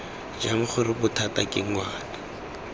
jang gore bothata ke ngwana